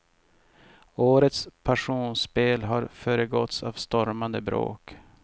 Årets passionsspel har föregåtts av stormande bråk.